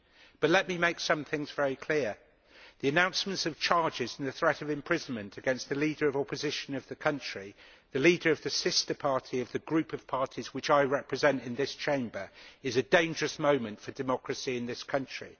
But let me make some things very clear the announcement of charges and the threat of imprisonment against the leader of the opposition in the country the leader of the sister party of the group of parties which I represent in this Chamber is a dangerous moment for democracy in this country.